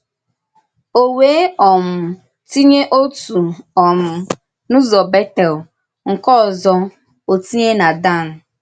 “Ó wéè um tìnyè òtù um n’ụ́zọ Bètèl, nke òzò ò tìnyè na Dàn.”